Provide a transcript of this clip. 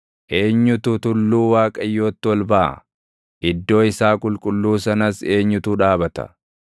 Eenyutu tulluu Waaqayyootti ol baʼa? Iddoo isaa qulqulluu sanas eenyutu dhaabata?